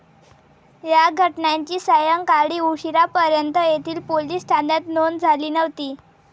या घटनांची सायंकाळी उशिरापर्यंत येथील पोलिस ठाण्यात नोंद झाली नव्हती.